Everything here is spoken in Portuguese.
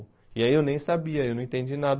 E aí eu nem sabia, eu não entendi nada.